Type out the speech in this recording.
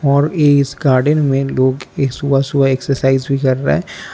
और इस गार्डन में लोग एक सुबह सुबह एक्सरसाइज भी कर रहा है।